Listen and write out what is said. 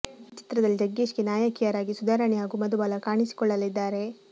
ಈ ಚಿತ್ರದಲ್ಲಿ ಜಗ್ಗೇಶ್ ಗೆ ನಾಯಕಿಯರಾಗಿ ಸುಧಾರಾಣಿ ಹಾಗೂ ಮಧುಬಾಲ ಕಾಣಿಸಿಕೊಳ್ಳಲಿದ್ದಾರೆ